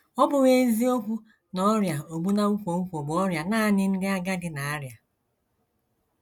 Ọ bụghị eziokwu na ọrịa ogbu na nkwonkwo bụ ọrịa nanị ndị agadi na - arịa.